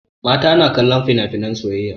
Mata na kallon finafinan soyayya.